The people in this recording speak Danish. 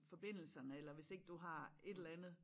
Forbindelserne eller hvis ikke du har et eller andet